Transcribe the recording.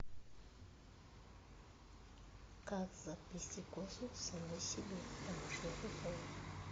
как заплести косу самой себе в домашних условиях